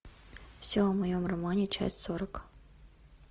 все о моем романе часть сорок